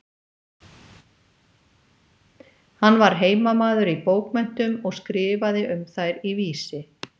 Hann var heimamaður í bókmenntum og skrifaði um þær í Vísi.